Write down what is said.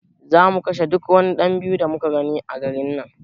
Za mu kashe duk wani ;yan biyu da muka gani a garin nan